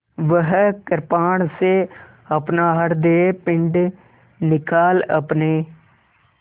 वह कृपाण से अपना हृदयपिंड निकाल अपने